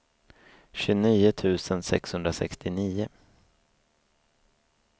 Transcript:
tjugonio tusen sexhundrasextionio